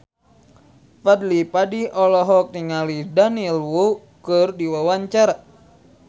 Fadly Padi olohok ningali Daniel Wu keur diwawancara